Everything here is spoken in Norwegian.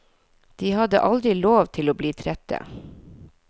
De hadde aldri lov til å bli trette.